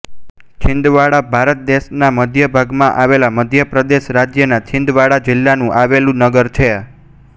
છિન્દવાડા ભારત દેશના મધ્ય ભાગમાં આવેલા મધ્ય પ્રદેશ રાજ્યના છિન્દવાડા જિલ્લામાં આવેલું નગર છે